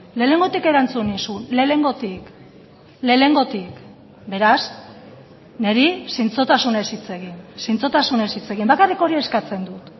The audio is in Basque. lehenengotik erantzun nizun lehenengotik lehenengotik beraz niri zintzotasunez hitz egin zintzotasunez hitz egin bakarrik hori eskatzen dut